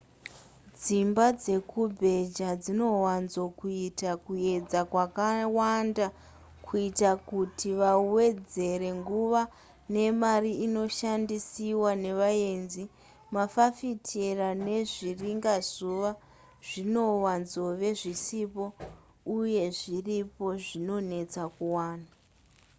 dzimba dzekubheja dzinowanzokuita kuedza kwakawanda kuita kuti vawedzera nguva nemari inoshandisiwa nevaenzi mafafitera nezviringazuva zvinowanzove zvisipo uye zviripo zvinonetsa kuwana